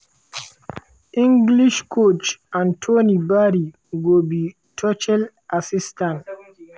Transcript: english coach anthony barry go be tuchel assistant.